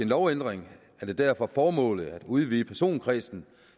lovændring er det derfor formålet at udvide personkredsen